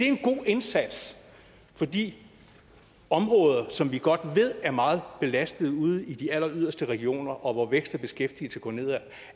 en god indsats for de områder som vi godt ved er meget belastede ude i de alleryderste regioner og hvor vækst og beskæftigelse går nedad